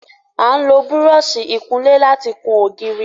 A n lo Búrọ̀ọ̀ṣì ìkunlé láti kùn ògiri